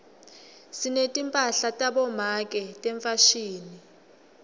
sinetimphahla tabomake tefashini